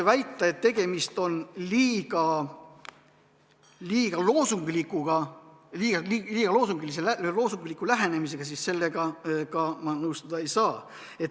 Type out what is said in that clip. Väitega, et tegemist on liiga loosungliku lähenemisega, ma nõustuda ei saa.